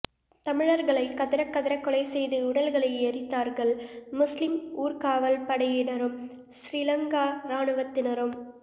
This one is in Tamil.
தமிழர்களை கதறக்கதற கொலைசெய்து உடல்களை எரித்தார்கள் முஸ்லிம் ஊர்காவல்படையினரும் சிறிலங்கா ராணுவத்தினரும்